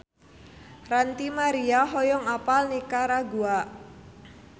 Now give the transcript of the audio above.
Ranty Maria hoyong apal Nikaragua